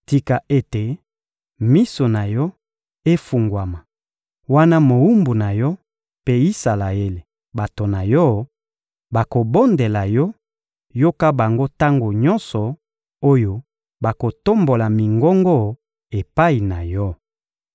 Tika ete miso na Yo efungwama wana mowumbu na Yo mpe Isalaele, bato na Yo, bakobondela Yo; yoka bango tango nyonso oyo bakotombola mingongo epai na Yo.